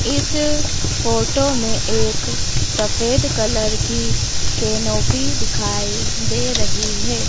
इस फोटो में एक सफेद कलर की केनोपी दिखाई दे रही है।